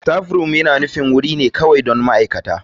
Staffroom yana wurin kawai don ma'aikata.